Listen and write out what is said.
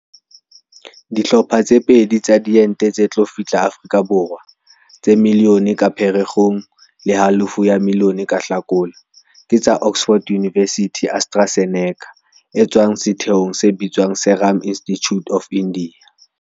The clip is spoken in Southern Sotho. Dihlopha tse pedi tsa diente tse tlo fihla Afrika Borwa, tse miliyone ka Phere kgong le halofo ya miliyone ka Hlakola, ke tsa Oxford University-AstraZeneca e tswang setheong se bitswang Serum Institute of India.